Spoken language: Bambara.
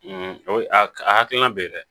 a hakilina bɛ ye dɛ